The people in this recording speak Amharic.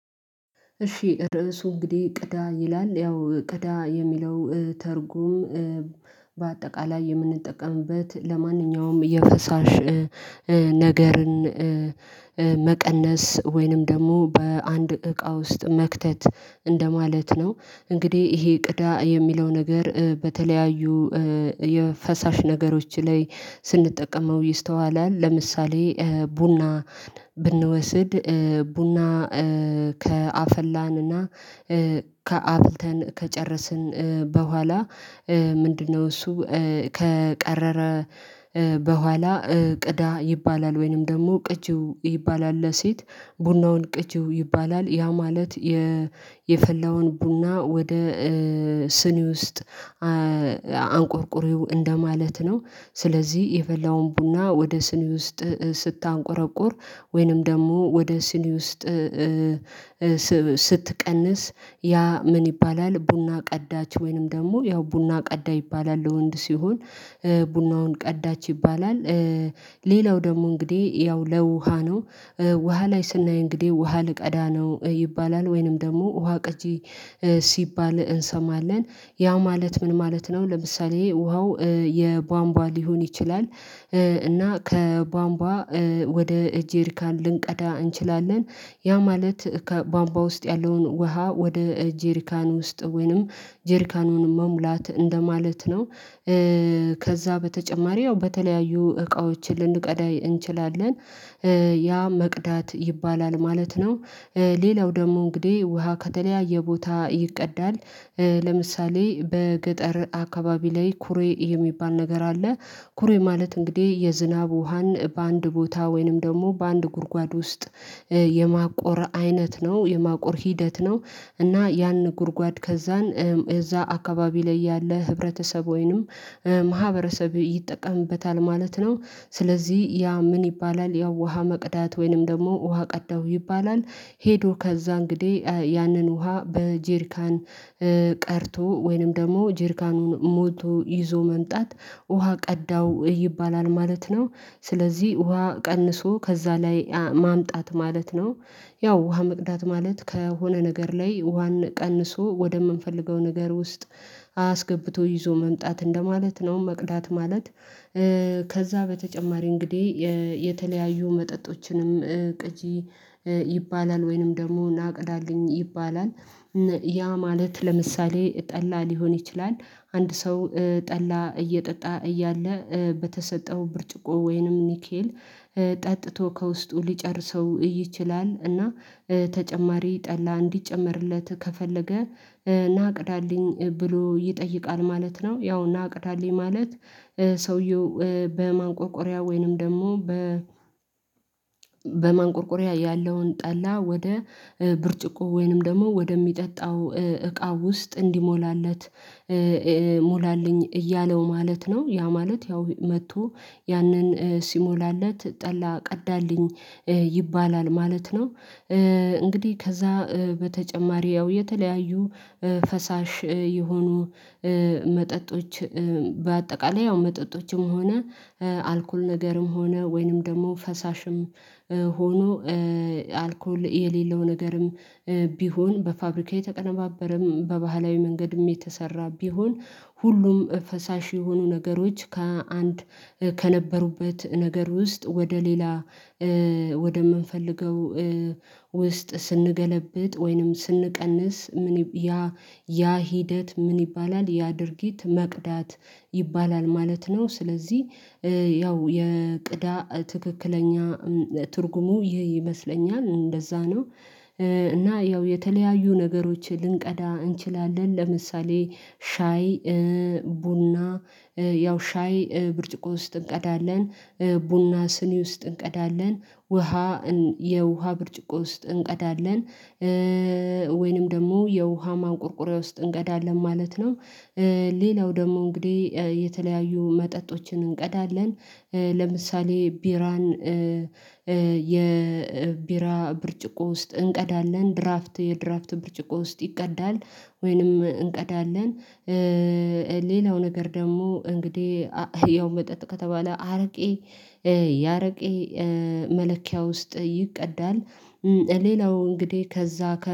እሺ ርዕሱ እንግዲህ ቅዳ ይላል ያው ቅዳ የሚለው ትርጉም በአጠቃላይ የምንጠቀምበት ለማንኛውም የፈሳሽ ነገርን መቀነስ ወይንም ደግሞ በአንድ እቃ ውስጥ መክተት እንደማለት ነው። እንግዲህ ይሄ ቅዳ የሚለው ነገር በተለያዩ የፈሳሽ ነገሮች ላይ ስንጠቀመው ይስተዋላል ለምሳሌ ቡናን ብንወስድ ቡና ከአፈላን እና ከአፍልተን ከጨረስን በኋላ ምንድነው እሱ ከቀረረ በኋላ ቅዳ ይባላል። ወይንም ደግሞ ቅጂው ይባላል ለሴት ቡናውን ቅጂው ይባላል። ያ ማለት የፈላውን ቡና ወደ ስኒ ውስጥ አንቆርቁሪው እንደማለት ነው። ስለዚህ የፈላውን ቡና ወደ ስኒ ውስጥ ስታንቆረቁር ወይንም ደግሞ ወደ ስኒ ውስጥ ስትቀንስ ያ ምን ይባላል ቡና ቀዳች ወይንም ደግሞ ያው ቡና ቀዳ ይባላል። ለወንድ ሲሆን ቡናውን ቀዳች ይባላል። ሌላው ደግሞ እንግዲህ ያው ለውሃ ነው ውሃ ላይ ስናይ እንግዲህ ውሃ ልቀዳ ነው ይባላል። ወይንም ደግሞ ውሃ ቀጂ ሲባል እሰማለን ያ ማለት ምን ማለት ነው? ለምሳሌ ውሃው የቧንቧ ሊሆን ይችላል እና ከባምባ ወደ ጄሪካን ልንቀዳ እንችላለን ያ ማለት ከባምባ ውስጥ ያለውን ውሃ ወደ ጄሪካን ውስጥ ወይንም ጄሪካኑን መሙላት እንደማለት ነው። ከዛ በተጨማሪ ነው በተለያዩ እቃዎችን ልንቀዳ እንችላለን ያ መቅዳት ይባላል ማለት ነው። ሌላው ደግሞ እንግዲህ ውሃ ከተለያየ ቦታ ይቀዳል ለምሳሌ በገጠር አካባቢ ላይ ኩሬ የሚባል ነገር አለ። ኩሬ ማለት እንግዲህ የዝናብ ውሃን በአንድ ቦታ ወይንም ደግሞ በአንድ ጉድጓድ ውስጥ የማቆር አይነት ነው የማቆር ሂደት ነው። እና ያን ጉድጓድ ከዛን እዛ አካባቢ ላይ ያለ ህብረተሰብ ወይንም ማህበረሰብ ይጠቀምበታል ማለት ነው። ስለዚህ ያ ምን ይባላል ያው ውሃ መቅዳት ወይንም ደግሞ ውሃ ቀዳው ይባላል። ሄዶ ከዛ እንግዲህ ያንን ውሃ በጄርካን ቀድቶ ወይንም ደግሞ ጅርካኑን ሞልቶ ይዞ መምጣት ውሃ ቀዳው ይባላል ማለት ነው። ስለዚህ ውሃ ቀንሶ ከዛ ላይ ማምጣት ማለት ነው። ያው ውሃ መቅዳት ማለት ከሆነ ነገር ላይ ውሃን ቀንሶ ወደምንፈልገው ነገር ውስጥ አስገብቶ ይዞ መምጣት እንደማለት ነው መቅዳት ማለት። ከዛ በተጨማሪ እንግዲህ የተለያዩ መጠጦችንም ቅጂ ይባላል ወይንም ደግሞ ና ቅዳለኝ ይባላል። ያ ማለት ለምሳሌ ጠላ ሊሆን ይችላል አንድ ሰው ጠላ እየጠጣ እያለ በተሰጠው ብርጭቆ ወይንም ኒኬል ጠጥቶ ከውስጡ ሊጨርሰው ይችላል እና ተጨማሪ ጠላ እንዲጨመርለት ከፈለገ ናቅዳልኝ ብሎ ይጠይቃል ማለት ነው። ያው ናቅዳልኝ ማለት። ሰውየው በማንቆርቆሪያ ወይንም ደግሞ በማንቆርቆሪያ ያለውን ጠላ ወደ ብርጭቆ ወይንም ደግሞ ወደሚጠጣው እቃ ውስጥ እንዲሞላለት ሙላልኝ እያለው ማለት ነው። ያ ማለት ያው መጥቶ ያንን ሲሞላለት ጠላ ቀዳልኝ ይባላል ማለት ነው። እንግዲህ ከዛ በተጨማሪ ያው የተለያዩ ፈሳሽ የሆኑ መጠጦች በአጠቃላይ ያው መጠጦችም ሆነ አልኮል ነገርም ሆነ ወይንም ደግሞ ፈሳሽም ሆኖ አልኮል የሌለው ነገርም ቢሆን በፋብሪካዬ የተቀነባበረም በባህላዊ መንገድም የተሰራ ቢሆን ሁሉም ፈሳሽ የሆኑ ነገሮች ከአንድ ከነበሩበት ነገር ውስጥ ወደ ሌላ ወደ ምንፈልገው ውስጥ ስንገለብጥ ወይንም ስንቀንስ ምን ያ ያ ሂደት ምን ይባላል ያ ድርጊት መቅዳት ይባላል። ማለት ነው ስለዚህ ያው የቅዳ ትክክለኛ ትርጉሙ ይሄ ይመስለኛል እንደዛ ነው። እና ያው የተለያዩ ነገሮችን ልንቀዳ እንችላለን ለምሳሌ ሻይ ቡና ያው ሻይ ብርጭቆ ውስጥ እንቀዳለን ቡና ስኒ ውስጥ እንቀዳለን ውሃ የውሃ ብርጭቆ ውስጥ እንቀዳለን። ወይንም ደግሞ የውሃ ማንቆርቆሪያ ውስጥ እንቀዳለን ማለት ነው። ሌላው ደግሞ እንግዲህ የተለያዩ መጠጦችን እንቀዳለን ለምሳሌ ቢራን የቢራ ብርጭቆ ውስጥ እንቀዳለን ድራፍት የድራፍት ብርጭቆ ውስጥ ይቀዳል ወይንም እንቀዳለን። ሌላው ነገር ደግሞ እንግዲህ ያው መጠጥ ከተባለ አርቄ ያረቄ መለኪያ ውስጥ ይቅዳል። ሌላው እንግዲህ ከዛ ከ